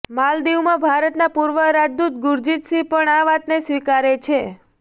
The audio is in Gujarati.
માલદીવમાં ભારતના પૂર્વ રાજદૂત ગુરજીતસિંહ પણ આ વાતને સ્વીકારે છે